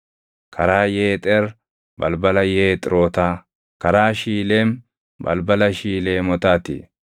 karaa Yeexer, balbala Yeexirotaa; karaa Shiileem, balbala Shiileemotaa ti.